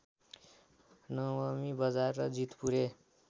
नवमी बजार र जीतपुरे